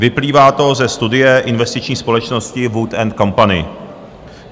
Vyplývá to ze studie investiční společnosti Wood and Company.